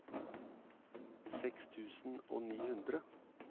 seks tusen og ni hundre